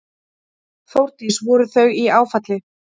Þórdís: Voru þau í áfalli?